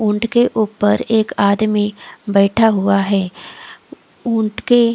ऊंट के ऊपर एक आदमी बैठा हुआ है। उंट के--